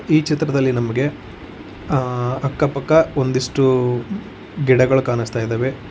ಈ ಚಿತ್ರದಲ್ಲಿ ನಮಗೆ ಆ ಅಕ್ಕಪಕ್ಕ ಒಂದಿಷ್ಟು ಗಿಡಗಳು ಕಾಣಿಸ್ತಾ ಇದಾವೆ.